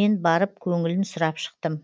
мен барып көңілін сұрап шықтым